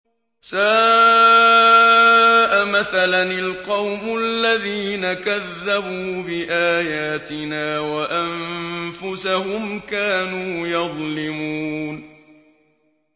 سَاءَ مَثَلًا الْقَوْمُ الَّذِينَ كَذَّبُوا بِآيَاتِنَا وَأَنفُسَهُمْ كَانُوا يَظْلِمُونَ